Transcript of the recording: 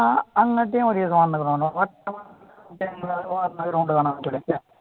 ആ അങ്ങനത്തെ വഴിയൊക്കെ വന്നിട്ടുണ്ട് കേട്ടോ